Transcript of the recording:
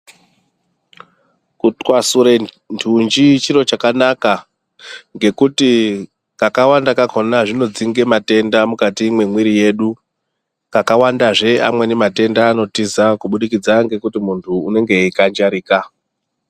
Kutwasure nthunji chiro chakanaka, ngekuti kakawanda kakhona zvinodzinge matenda mukati mwemwiri yedu, kakawanda kachozve amweni matenda anotiza, kubudikidza ngekuti munthu unenge eikanjarika.